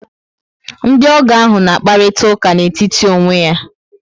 Ndiogo ahụ na akparita ụka n etítì onwe ya